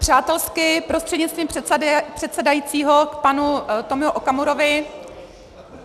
Přátelsky, prostřednictvím předsedajícího, k panu Tomio Okamurovi.